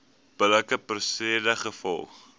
billike prosedure gevolg